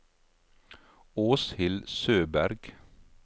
Åshild Søberg